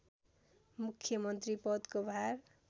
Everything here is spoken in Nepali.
मुख्यमन्त्री पदको भार